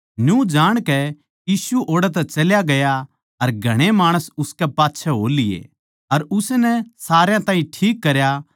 न्यू जाणकै यीशु ओड़ै तै चल्या गया अर घणे माणस उसकै पाच्छै हो लिए अर उसनै सारया ताहीं ठीक करया